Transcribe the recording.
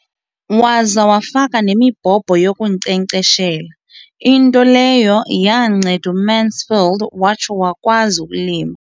Waza wafaka nemibhobho yokunkcenkceshela, into leyo yanceda uMansfield watsho wakwazi ukulima.